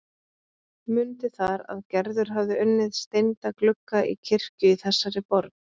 Mundi þar að Gerður hafði unnið steinda glugga í kirkju í þessari borg.